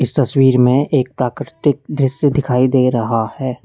तस्वीर में एक प्राकृतिक दृश्य दिखाई दे रहा है।